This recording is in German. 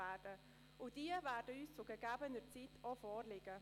Diese werden uns zu gegebener Zeit auch vorgelegt.